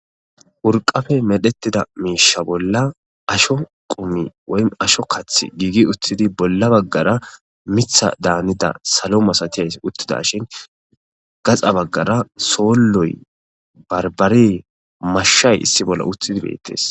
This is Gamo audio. Urqqappe meretida miishsha bolla asho qumi woym asho kathi giigi uthidi bolla bagara mitha danida salo masatiyays utidaashin gaxa bagara sooloy, barbare,mashay issi bolla utidi beetees.